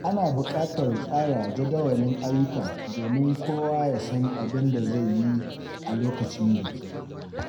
Ana buƙatar tsara jadawalin ayyuka domin kowa ya san abin da zai yi a lokacin biki.